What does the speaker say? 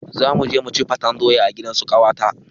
Zamuje muci faten doya a gidansu ƙawata